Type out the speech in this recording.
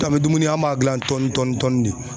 An be dumuni an m'a gilan tɔnin tɔnin tɔnin ne